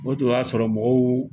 O dun y'a sɔrɔ mɔgɔw .